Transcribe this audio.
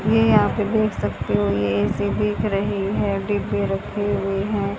ये यहां पे देख सकते हो ये ए_सी देख रही है डिब्बे रखे हुए हैं।